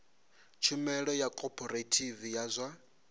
tshumelo ya khophorethivi ya zwa